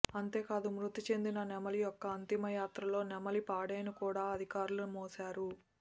అంతేకాదు మృతిచెందిన నెమలి యొక్క అంతిమ యాత్రలో నెమలి పాడెను కూడా అధికారులు మోశారు